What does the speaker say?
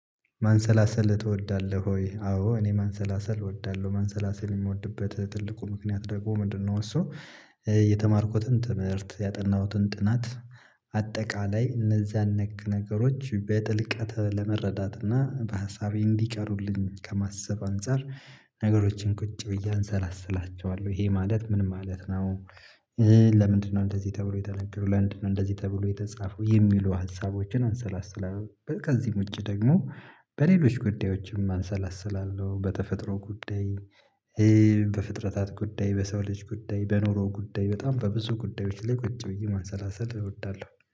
ማሰላሰል ትወዳለህ ወይ? አዎ እኔ ማሰላሰል እወዳለሁ ማሰላሰል የምወድበት ትልቁ ምክንያት ደግሞ ምንድነው እሱ የተማርኩትን ትምህርት ያጠናሁትን ጥናት አጠቃላይ እነዚያን ነክ ነገሮች በጥልቀት ለመረዳት እና በሀሳቤ እንዲቀሩልኝ ከማሰብ አንፃር ነገሮችን ቁጭ ብዬ አሰላስላቸዋለሁ ይሄ ማለት ምን ማለት ነው። ለምንድነው እንደዚህ ተብሎ የተነገሩ ለምድነው እንደዚህ ተብሎ የተጻፈው የሚሉ ሀሳቦችን አሰላስላለሁ ከዚህም ውጭ ደግሞ በሌሎች ጉዳዮችም አሰላስላለሁ በተፈጥሮ ጉዳይ በፍጥረታት ጉዳይ በሰው ልጅ ጉዳይ በኑሮ ጉዳይ በጣም በብዙ ጉዳዮች ላይ ቁጭ ብዬ ማሰላሰል እወዳለሁ